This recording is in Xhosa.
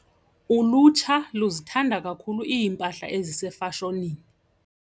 Ulutsha luzithanda kakhulu iimpahla ezisefashonini.